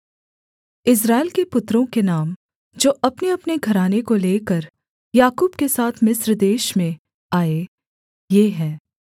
इस्राएल के पुत्रों के नाम जो अपनेअपने घराने को लेकर याकूब के साथ मिस्र देश में आए ये हैं